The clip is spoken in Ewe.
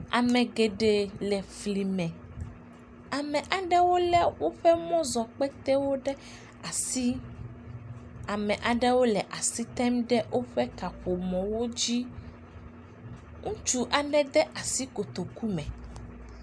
Ame geɖee le fli me ame aɖewo lé woƒe mɔzɔ kpetewo ɖe asi, ame aɖewo le asi tem ɖe woƒe kaƒomɔwo dzi, ŋutsu aɖe de asi kotoku me.